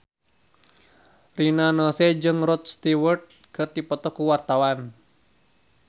Rina Nose jeung Rod Stewart keur dipoto ku wartawan